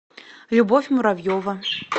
любовь муравьева